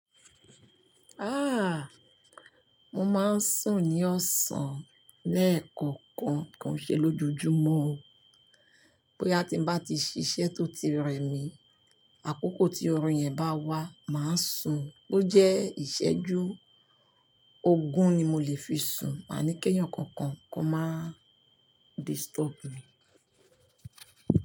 Ah! Mo máa ń sùn ní ọ̀sán leekokan ko n ṣe lójojúmọ́ o. Boya ti ń bá ti ṣiṣẹ́ tó ti rẹmi, àkókò tí orun yẹn bá wá, màá sùn. Bo jẹ́ ìṣẹ́jú ogún ni mo lè fi sùn. Máa ni kẹ́eyan kankan kó má disturb mi.